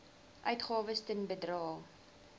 uitgawes ten bedrae